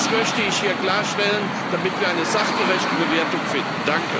Das möchte ich hier klarstellen, damit wir eine sachgerechte Bewertung finden.